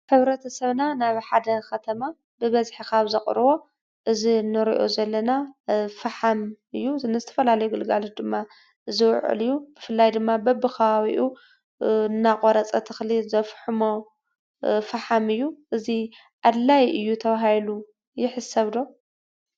ሕብረተሰብና ናብ ሓደ ከተማ ብበዝሒ ካብ ዘቅርቦ እዚ እንሪኦ ዘለና ፈሓም እዩ፡፡ ንዝተፈላለዩ ግልጋሎት ድማ ዝውዕል እዩ፡፡ ብፍላይ ድማ በቢከባቢኡ እናቆረፀ ተክሊ ዘፍሕሞ ፈሓም እዩ፡፡ እዚ ኣድላይ እዩ ተባሂሉ ይሕሰብ ዶ?